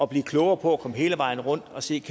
blive klogere og komme hele vejen rundt og se